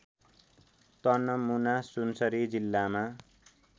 तनमुना सुनसरी जिल्लामा